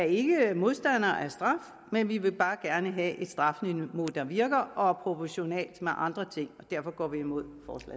ikke modstander af straf men vi vil bare gerne have et strafniveau der virker og er proportionalt med andre ting og derfor går vi imod